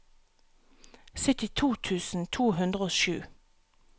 syttito tusen to hundre og sju